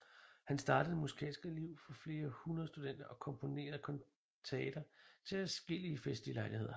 Han startede det musikalske liv for flere hundrede studenter og komponerede kantater til adskillige festlige lejligheder